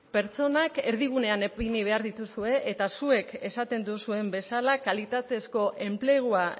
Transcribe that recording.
pertsonak erdigunean ipini behar dituzue eta zuek esaten duzuen bezala kalitatezko enplegua